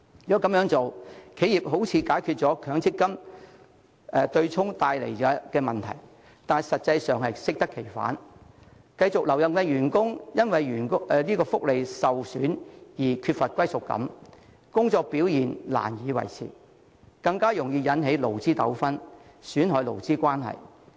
這樣，企業好像能解決取消強積金對沖帶來的問題，但實際上會適得其反，繼續留任的員工會因福利受損而缺乏歸屬感，工作表現難以維持，更容易引起勞資糾紛，損害勞資關係。